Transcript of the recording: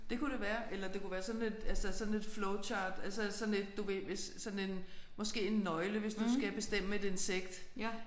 Det kunne det være eller det kunne være sådan et altså sådan et flow chart altså sådan et du ved hvis sådan en måske en nøgle hvis du skal bestemme et insekt